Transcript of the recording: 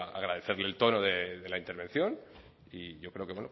agradecerle el tono de la intervención y yo creo que